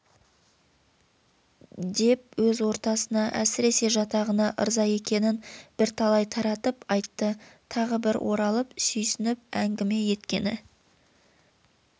деп өз ортасына әсіресе жатағына ырза екенін бірталай таратып айтты тағы бір оралып сүйсініп әңгіме еткені